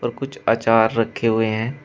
कुछ अचार रखे हुए हैं।